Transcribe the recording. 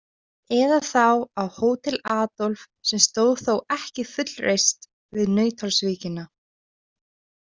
Eða þá á Hótel Adolf, sem stóð þó ekki fullreist við Nauthólsvíkina.